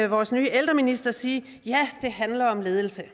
vores nye ældreminister sige ja det handler om ledelse